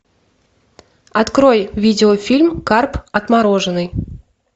открой видеофильм карп отмороженный